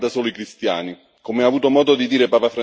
Il problema, tuttavia, non riguarda solo i cristiani.